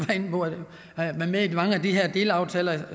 været med i mange af de her delaftaler